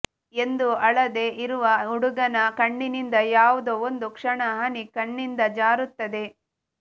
ಎಂದೂ ಅಳದೇ ಇರುವ ಹುಡುಗನ ಕಣ್ಣಿನಿಂದ ಯಾವುದೋ ಒಂದು ಕ್ಷಣ ಹನಿ ಕಣ್ಣಿಂದ ಜಾರುತ್ತದೆ